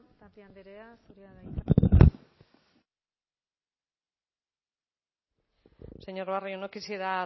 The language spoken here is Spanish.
tapia andream zurea da hitza señor barrio no quisiera